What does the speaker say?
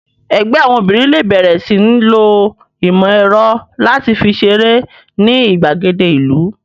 Ẹgbẹ́ àwọn obìnrin lè bẹ̀rẹ̀ sí ń lo ìmọ̀ ẹ̀rọ láti fi ṣeré ní ìgbàgede ìlú